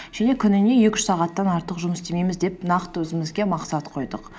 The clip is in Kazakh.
және күніне екі үш сағаттан артық жұмыс істемейміз деп нақты өзімізге мақсат қойдық